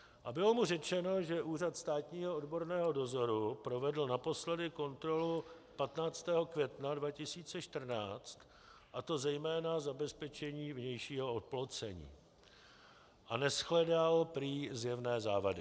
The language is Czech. A bylo mu řečeno, že Úřad státního odborného dozoru provedl naposledy kontrolu 15. května 2014, a to zejména zabezpečení vnějšího oplocení, a neshledal prý zjevné závady.